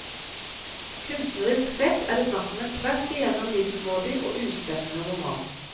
Kunstnerisk sett er det snakk om en tvers igjennom middelmådig og uspennende roman.